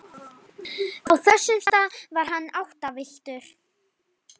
Á þessum stað var hann áttavilltur.